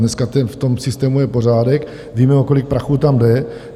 Dneska v tom systému je pořádek, víme, o kolik prachů tam jde.